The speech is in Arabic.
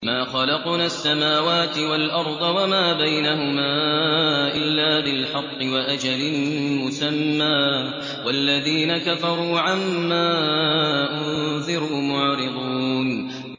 مَا خَلَقْنَا السَّمَاوَاتِ وَالْأَرْضَ وَمَا بَيْنَهُمَا إِلَّا بِالْحَقِّ وَأَجَلٍ مُّسَمًّى ۚ وَالَّذِينَ كَفَرُوا عَمَّا أُنذِرُوا مُعْرِضُونَ